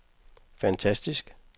fantastisk